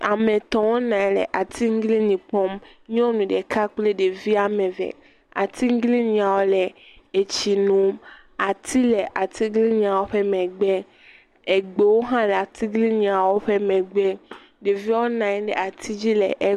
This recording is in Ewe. Ame etɔ̃ wonɔ anyi nɔ atiglinyi kpɔm. Nyɔnu ɖeka kple evia eve. Atiglinyiawo le tsi nom. Ati le atiglinyiawo megbe. Egbewo hã le atigliniawo ƒe amega. Ɖeviwo nɔ anyi ɖe …